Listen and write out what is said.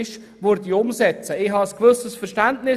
Dafür habe ich ein gewisses Verständnis.